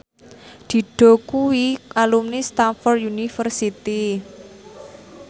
Dido kuwi alumni Stamford University